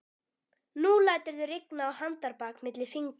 Nú læturðu rigna á handarbak milli fingra